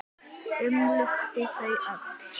Umlukti þau öll.